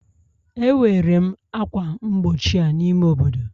Ewere m ákwà mgbochi a n'ime obodo